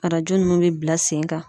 Arajo ninnu bɛ bila sen kan.